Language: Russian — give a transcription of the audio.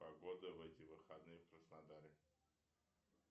погода в эти выходные в краснодаре